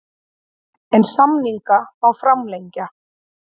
En samninga má framlengja.